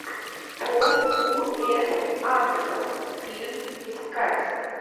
пол у с андерсон фильм искать